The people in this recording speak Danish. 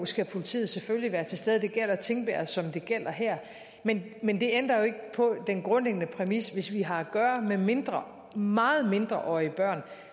skal politiet selvfølgelig være til stede det gælder tingbjerg som det gælder her men men det ændrer ikke på den grundlæggende præmis at hvis vi har at gøre med mindreårige meget mindreårige børn